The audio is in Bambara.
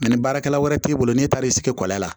ni baarakɛla wɛrɛ t'e bolo n'e taar'i sigi kɔlɔn la